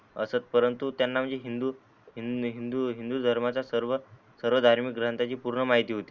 असत परंतु त्यांना म्हणजे हिंदू हिंदू धर्मच्या सर्व धार्मिक ग्रंथाची पूर्ण माहीती होती.